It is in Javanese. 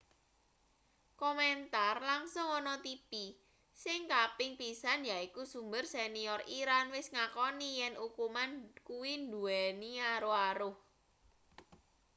komentar langsung ana tipi sing kaping pisan yaiku sumber senior iran wis ngakoni yen ukuman kuwi nduweni aruh-aruh